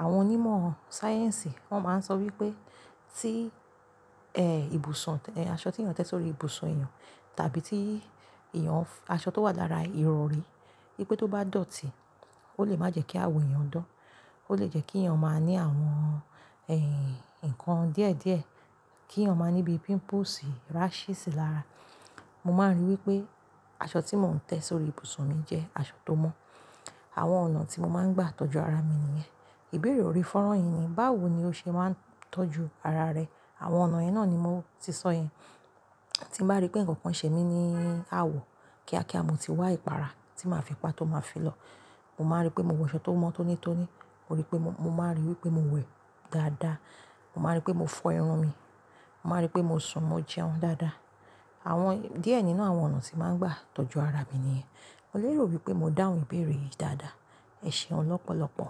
Àwọn onímọ̀ sáyẹ́ǹsì wọ́n máa ń sọ wípé tí, ẹ́, ibùsùn, ẹ́, aṣọ tí èèyàn tẹ sórí ibùsùn èèyàn tàbí tí èèyàn f-- aṣọ tó wà lára ìrọ̀rí, pé tó bá dọ̀tí, ó lè má jẹ́ kí awọ èèyàn dán. Ó lè jẹ́ kí èèyàn máa ní àwọn, ẹ́, ǹkan díẹ̀díẹ̀, kí èèyàn máa níbi pimples, rashes lára. Mo máa ń ríi wípé aṣọ tí mò ń tẹ sórí ibùsùn mi jẹ́ aṣọ tó mọ́. Àwọn ọ̀nà tí mo máa ń gbà tọ́jú ara mi nìyẹn. Ìbéèrè orí fọ́rọ̀ yìí ni, báwo ni o ṣe máa ń tọ́jú ara rẹ? Àwọn ọ̀nà yẹn náà ni mo ti sọ yẹn. Tí màá rí pé ǹkan kan ṣe mí ní àwọ̀ kíákíá, mo ti wá ìpara tí màá fi pa tó máa fi lọ. Mo máa rí pé mo wọ aṣọ tó mọ́ tónítóní. Mo rí pé mo, mo máa ríi wípé mo wẹ̀ dáadáa. Mo máa rí pé mo fọ irun mi. Mo máa rí pé mo sùn, mo jẹun dáadáa. Àwọn díẹ̀ nínú àwọn ọ̀nà tí màá ń gbà tọ́jú ara mi nìyẹn. Mo lè rò wípé mo dáhùn ìbéèrè yìí dáadáa. Ẹ ṣeun lọ́pọ̀lọ́pọ̀.